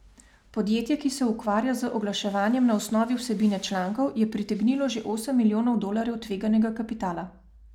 Podjetje, ki se ukvarja z oglaševanjem na osnovi vsebine člankov, je pritegnilo že osem milijonov dolarjev tveganega kapitala.